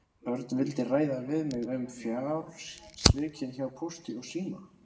Örn vildi ræða við mig um fjársvikin hjá Pósti og síma.